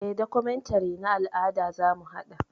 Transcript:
Eh, documentary na al'ada zamu haɗa.